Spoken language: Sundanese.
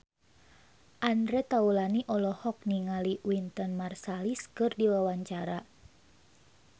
Andre Taulany olohok ningali Wynton Marsalis keur diwawancara